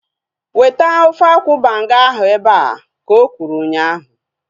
Weta ofe akwụ banga ahu ebea! Ka okwuru ụnyaahụ